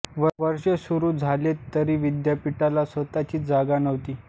वर्ष सुरू झाले तरी विद्यापीठाला स्वतःची जागा नव्हती